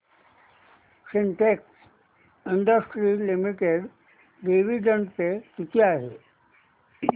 Sintex industries limited dividend pay किती आहे